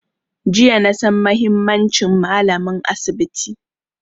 Jiya na san muhimmancin malamin asibi